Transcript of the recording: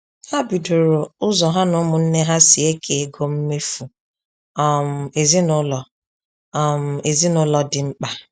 Ha bidoro ụzọ ha na ụmụnne ha si eke ego mmefu um ezinaụlọ um ezinaụlọ dị mkpa